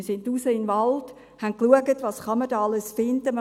Wir gingen hinaus in den Wald und schauten, was man da alles finden kann.